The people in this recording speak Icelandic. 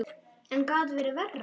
En hvað gat verið verra?